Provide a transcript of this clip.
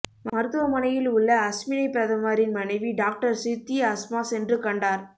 மருத்துமனையில் உள்ள அஸ்மினைப் பிரதமரின் மனைவி டாக்டர் சித்தி அஸ்மா சென்று கண்டார்